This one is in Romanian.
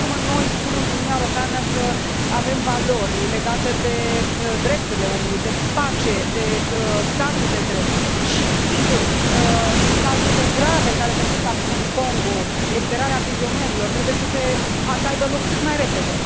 Până la urmă, noi spunem în Uniunea Europeană că avem valori legate de drepturile omului, de pace, de statul de drept și, sigur, cazurile grave care se întâmplă acum în Congo, eliberarea prizonierilor, trebuie să aibă loc cât mai repede.